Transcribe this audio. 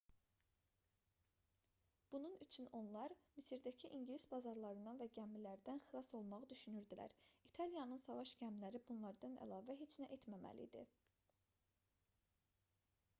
bunun üçün onlar misirdəki i̇ngilis bazalarından və gəmilərdən xilas olmağı düşünürdülər. i̇taliyanın savaş gəmiləri bunlardan əlavə heç nə etməməli idi